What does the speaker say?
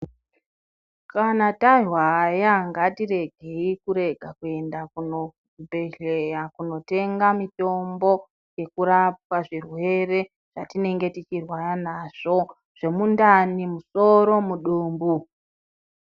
Kana tarwara ngatiregei kuenda kuzvibhedhlera kundotenga mitombo ngekurapwa zvirwere zvatinenge tichirwara nazvo zvemundani musoro mudumbu.